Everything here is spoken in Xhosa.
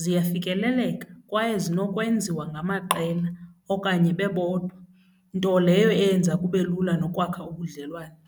ziyafikeleleka kwaye zinokwenziwa ngamaqela okanye bebodwa, nto leyo eyenza kube lula nokwakha ubudlelwane.